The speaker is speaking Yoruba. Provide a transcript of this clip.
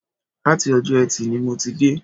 Láti Ọjọ́ Ẹtì ni mo ti dé